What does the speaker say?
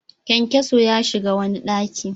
Kyankyaso ya shiga wani ɗaki.